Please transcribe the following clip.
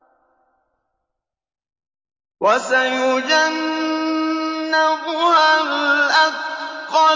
وَسَيُجَنَّبُهَا الْأَتْقَى